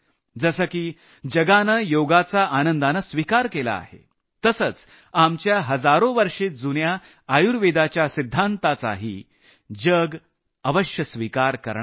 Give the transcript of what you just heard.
जसं की जगानं योगाचा आनंदानं स्विकार केला आहे तसंच हजारो वर्षे जुन्या आयुर्वेदाच्या सिद्धांतांचाही जग अवश्य स्विकार करणार आहे